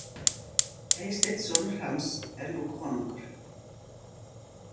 Eysteinn sonur hans er nú konungur.